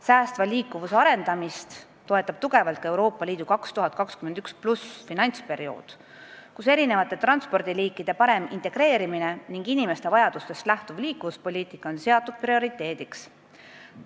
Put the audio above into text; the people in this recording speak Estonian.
Säästva liikuvuse arendamist toetab tugevalt ka Euroopa Liidu 2021+ finantsperiood, kus erinevate transpordiliikide parem integreerimine ning inimeste vajadustest lähtuv liikuvuspoliitika on seatud prioriteediks.